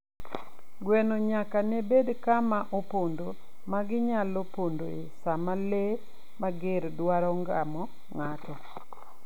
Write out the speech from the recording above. Gweno nyaka ne bed kama opondo ma ginyalo pondoe sama le mager dwaro ngamo ng'ato.